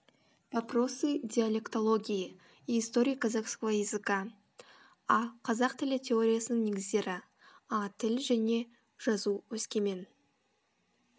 вопросы диалектологии и истории казахского языка а қазақ тілі теориясының негіздері а тіл және жазу өскемен